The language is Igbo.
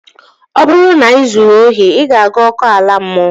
Ọ bụrụ na ị zuru ohi, ị ga-aga ọkụ ala mmụọ